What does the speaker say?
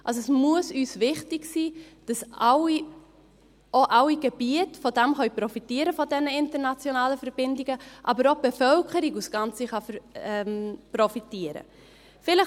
Es muss uns wichtig sein, dass auch alle Gebiete von den internationalen Verbindungen profitieren können, dass aber auch die Bevölkerung als Ganze davon profitieren kann.